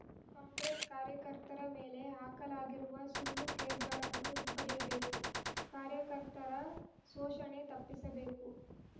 ಕಾಂಗ್ರೆಸ್‌ ಕಾರ್ಯಕರ್ತರ ಮೇಲೆ ಹಾಕಲಾಗಿರುವ ಸುಳ್ಳು ಕೇಸ್‌ಗಳನ್ನು ಹಿಂಪಡೆಯಬೇಕು ಕಾರ್ಯಕರ್ತರ ಶೋಷಣೆ ತಪ್ಪಿಸ ಬೇಕು